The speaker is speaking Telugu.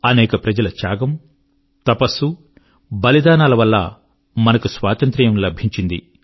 అనేక ప్రజల త్యాగము తపస్సు బలిదానాల వల్ల మనకు స్వాతంత్ర్యం లభించింది